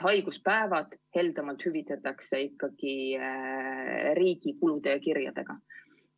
Haiguspäevad hüvitataks heldemalt ikkagi riigi kulu ja kirjadega.